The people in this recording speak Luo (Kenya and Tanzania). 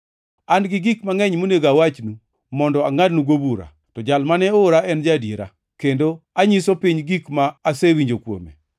An gi gik mangʼeny monego awachnu mondo angʼadnugo bura. To Jal mane oora en ja-adiera, kendo anyiso piny gik ma asewinjo kuome.”